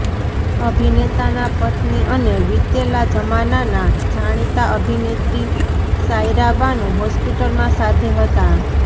અભિનેતાના પત્ની અને વીતેલા જમાનાના જાણીતા અભિનેત્રી સાયરા બાનુ હોસ્પિટલમાં સાથે હતા